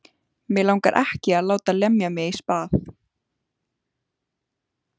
Mig langar ekki að láta lemja mig í spað.